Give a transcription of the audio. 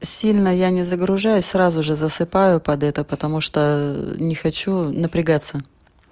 сильна я не загружаюсь сразу же засыпаю под эту потому что не хочу напрягаться